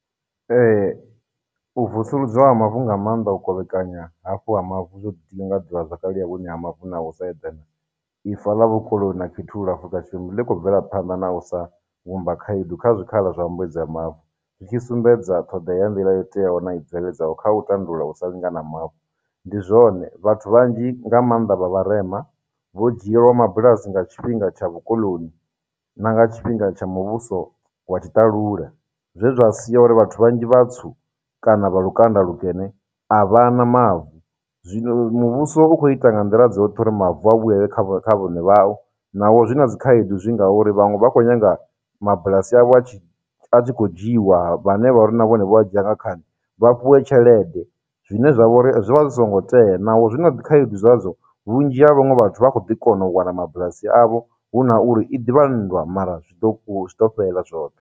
Ee, u vusuludzwa ha mavu, nga maanḓa u kovhekanya hafhu ha mavu zwo ḓinga ḓivhazwakale ya vhuṋe ha mavu na u sa eḓana, ifa ḽa na khethululo ḽi khou bvela phanḓa na u sa vhumba khaedu kha zwikhala zwa mbuedzo ya mavu, zwi tshi sumbedza ṱhoḓea ya nḓila yo teaho na i bveledzaho kha u tandulula u sa lingana ha mavu. Ndi zwone, vhathu vhanzhi nga maanḓa vha vharema, vho dzhielwa mabulasi nga tshifhinga tsha vhukoḽoni na nga tshifhinga tsha muvhuso wa tshitalula, zwe zwa sia uri vhathu vhanzhi vhatswu kana vha lukanda lukene, avhana mavu, zwino muvhuso u khou ita nga nḓila dzoṱhe uri mavu a vhuyelele kha kha vhaṋe vhao, naho zwi na dzikhaedu zwi ngauri, vhaṅwe vha kho nyaga mabulasi avho a tshi a tshi khou dzhiiwa, vhane vha vha uri na vhone vho a dzhia nga khani, vha fhiwe tshelede, zwine zwa vho ri zwi vha zwi songo tea, naho zwina dzi khaedu zwadzo, vhunzhi ha vhaṅwe vhathu vha khou ḓi kona u wana mabulasi avho, hu na uri, i ḓivha nndwa mara zwi ḓo zwi ḓo fhelela zwoṱhe.